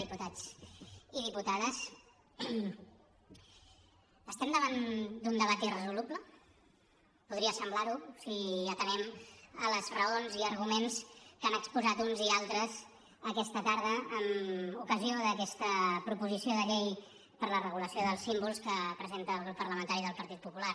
diputats i diputades estem davant d’un debat irresoluble podria semblar ho si atenem les raons i arguments que han exposat uns i altres aquesta tarda en ocasió d’aquesta proposició de llei per la regulació dels símbols que presenta el grup parlamentari del partit popular